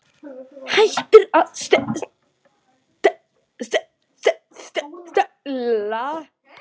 Hættir að stela.